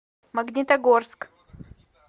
магнитогорск